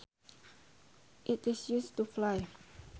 It is used to fly